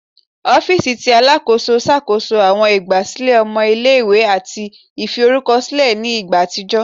Ọ̀fiisi tí Alákóso ṣàkóso àwọn ìgbà sílẹ̀ ọmọ ilé-ìwé àti ìfi orúkọ sílẹ̀ ní ìgbà àtijọ́